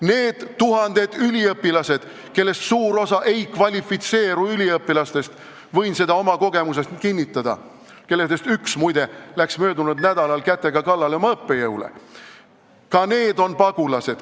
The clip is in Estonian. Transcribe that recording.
Need tuhanded üliõpilased, kellest suur osa ei kvalifitseeru üliõpilaseks – võin seda oma kogemusest kinnitada ja neist üks, muide, läks möödunud nädalal oma õppejõule kätega kallale –, on ka pagulased.